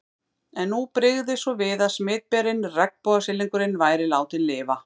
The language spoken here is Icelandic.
En nú brygði svo við að smitberinn, regnbogasilungurinn, væri látinn lifa.